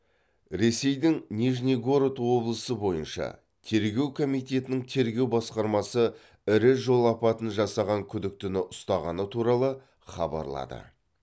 ресейдің нижнегород облысы бойынша тергеу комитетінің тергеу басқармасы ірі жол апатын жасаған күдіктіні ұстағаны туралы хабарлады